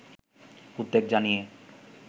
উদ্বেগ জানিয়ে